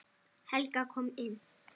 Helga kom inn.